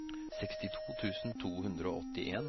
seksti tusen to hundre og åttien